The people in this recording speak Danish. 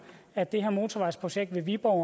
at det her motorvejsprojekt ved viborg